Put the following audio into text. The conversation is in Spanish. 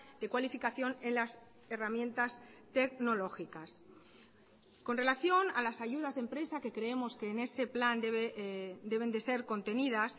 de cualificación en las herramientas tecnológicas con relación a las ayudas de empresa que creemos que en ese plan deben de ser contenidas